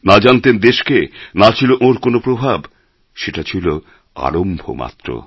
না জানতেন দেশকে না ছিল ওঁর কোনো প্রভাব সেটা ছিল আরম্ভ মাত্র